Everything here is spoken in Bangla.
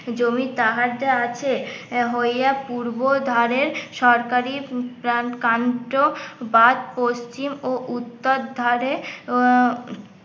জমি সাহায্যে আছে হইয়া পূর্বধারের সরকারি প্রান কান্ত বা পশ্চিম ও উত্তর ধারে